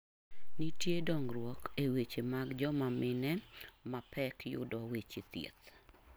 Nitiere dongruok e weche mag joma mine mapek yudo weche thieth.